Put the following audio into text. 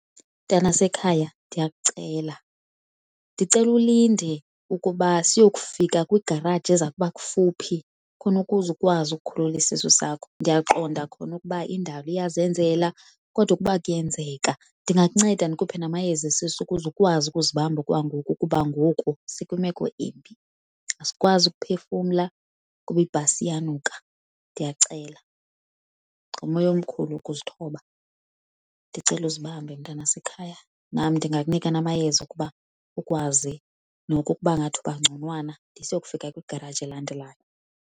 Mntanasekhaya ndiyakucela, ndicela ulinde ukuba siyokufika kwigaraji eza kuba kufuphi khona ukuze ukwazi ukukhulula isisu sakho. Ndiyaqonda kona ukuba indalo iyazenzela kodwa ukuba kuyenzeka ndingakunceda ndikuphe namayeza esisu ukuze ukwazi ukuzibamba okwangoku kuba ngoku sikwimeko embi, asikwazi ukuphefumla kuba ibhasi iyanuka. Ndiyakucela ngomoya omkhulu ukuzithoba ndicela uzibambe mntanasekhaya, nam ndingakunika namayeza ukuba ukwazi noko ukuba ngathi uba ngconwana de siyokufika kwigaraji elandelayo.